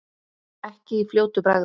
Ekki í fljótu bragði.